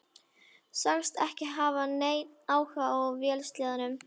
Sagðist ekki hafa neinn áhuga á vélsleðum.